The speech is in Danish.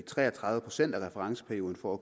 tre og tredive procent af referenceperioden for at